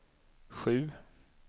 sju